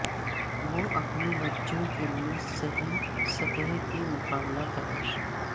اور اپنے بچوں کے لئے صحیح سطح کی مقابلہ تلاش